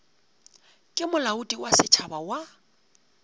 ke molaodi wa setšhaba wa